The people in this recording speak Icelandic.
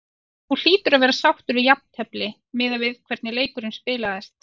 Þú hlýtur að vera sáttur við jafntefli miðað við hvernig leikurinn spilaðist?